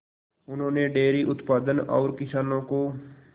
उन्होंने डेयरी उत्पादन और किसानों को